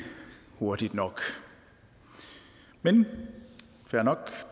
hurtigt nok men fair nok